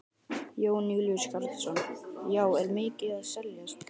Jón Júlíus Karlsson: Já, er mikið að seljast?